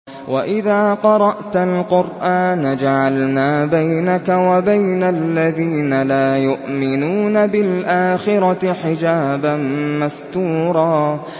وَإِذَا قَرَأْتَ الْقُرْآنَ جَعَلْنَا بَيْنَكَ وَبَيْنَ الَّذِينَ لَا يُؤْمِنُونَ بِالْآخِرَةِ حِجَابًا مَّسْتُورًا